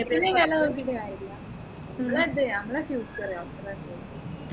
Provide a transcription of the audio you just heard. പിന്നെ പിന്നെ വില നോക്കിയിട്ട് കാര്യമില്ല നമ്മളെ നമ്മളെ future അത്രേ തന്നെ